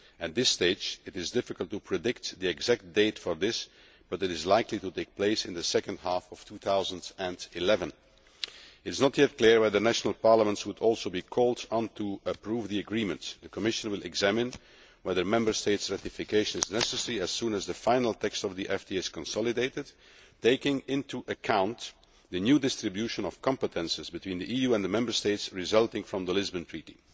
At this stage, it is difficult to predict the exact date for this, but it is likely to take place in the second half of 2011. It is not yet clear whether the national parliaments would also be called on to approve the agreements. The Commission will examine whether Member States' ratification is necessary as soon as the final text of the FTA is consolidated, taking into account the new distribution of competences between the EU and the Member States resulting from the Lisbon Treaty.